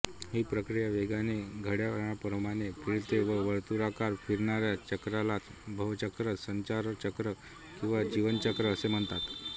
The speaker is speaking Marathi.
ही प्रक्रिया वेगाने घड्याळाप्रमाणे फिरते या वर्तुळाकार फिरणाऱ्या चक्रालाच भवचक्र संसारचक्र किंवा जीवनचक्र असे म्हणतात